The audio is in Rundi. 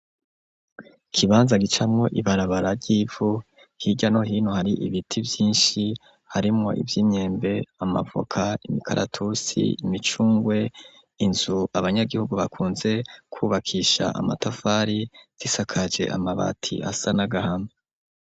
Ikibanza gicamo ibarabara ry'ivu hirya no hino hari ibiti byinshi harimo iby'imyembe amavoka imikaratusi, imicungwe inzu abanyagihugu bakunze kubakisha amatafari zisakaje amabati asa n'agahama.